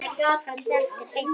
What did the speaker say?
Hann stefndi beint á þá.